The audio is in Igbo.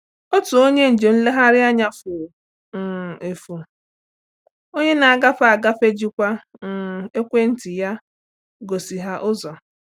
Otu onye njem nleghari anya furu um efu, onye na-agafe agafe jikwa um ekwentị ya gosi ha ụzọ.